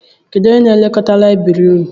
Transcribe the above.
Kedụ n'elekọta layibiri ụnụ?